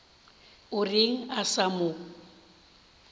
o reng a sa mo